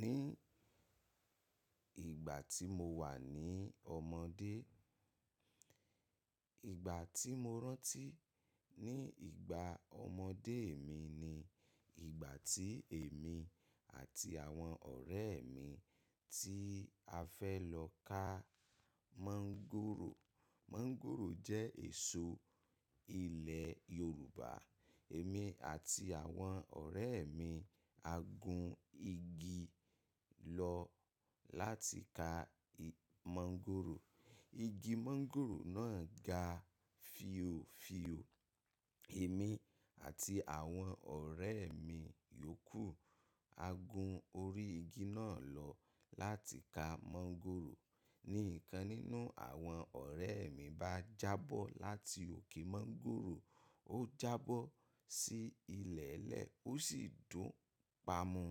Ní ìgbà tí mo wà ní ọmọdé, ìgbà tí mo rántí ní ìgbà ọmọdé mi ni ìgbà tí èmi àti àwọn ọ̀rẹ́ mi tí a fẹ́ lọ ká mọ́ngòrò. Mọ́ngòrò jẹ́ èso ilẹ̀ Yorùbá. Èmi àti àwọn ọ̀rẹ́ mi, a gun igi lọ láti ká mọ́ngòrò. Igi mọ́ngòrò náà ga fìòfìò. Èmi àti àwọn ọ̀rẹ́ mi yòókù a gun orí igi náà lọ láti ká mọ́ngòrò. Nìkan nínú àwọn ọ̀rẹ́ mi bá jábọ́ láti òkè mọ́ngòrò, ó jábọ́ sí ilẹ̀ nle, ó sì dùn pamọ́.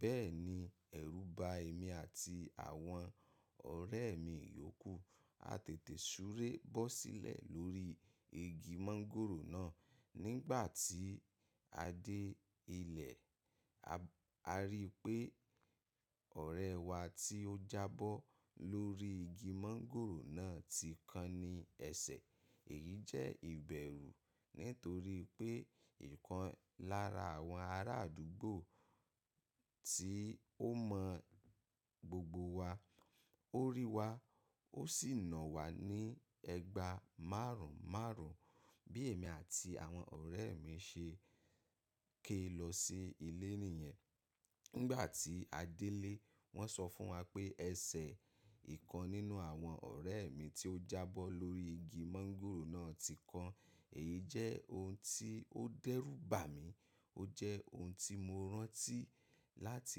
Bẹ́ẹ̀ni, ẹ̀rù ba èmi àti àwọn ọ̀rẹ́ mi yòókù. A tètè súré bọ́ sílẹ̀ lórí igi mọ́ngòrò náà. Nígbà tí a dé ilẹ̀, a rí pé ọ̀rẹ́ wa tí ó jábọ́ lórí igi mọ́ngòrò náà ti kan ní ẹsẹ̀. Èyí jẹ́ ìbẹ̀rú nítorí pé ìkan lára àwọn ará àdúgbò tí ó mọ gbogbo wa, ó rí wa, ó sì nà wà á ní ẹgbàá márùn-márùn. Bí èmi àti àwọn ọ̀rẹ́ mi ṣe ké lọ sí ilé nìyẹn. Nígbà tí a dé ilé, wọ́n sọ fún wa pé ẹsẹ̀ ìkan nínú àwọn ọ̀rẹ́ mi tí ó jábọ́ lórí igi mọ́ngòrò náà ti kan. Èyí jẹ́ ohun tí ó dẹ́rù bà mí. Ó jẹ́ ohun tí mo rántí láti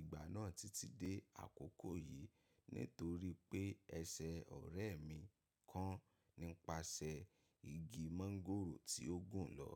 ìgbà náà títí dé àkókò yìí. Nítorí pé ẹsẹ̀ ọ̀rẹ́ mi kan nípasẹ̀ igi mọ́ngòrò tí ó gùn lọ.